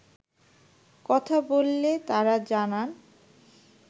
কথা বললে তারা জানান